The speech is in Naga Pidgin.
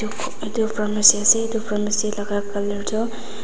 etu pharmacy ase etu pharmacy laga colour tu.